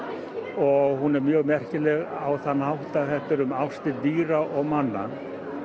og hún er mjög merkileg á þann hátt að þetta er um ástir dýra og manna